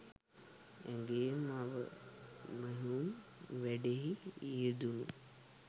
ඇගේ මව මැහුම් වැඩෙහි යෙදුණු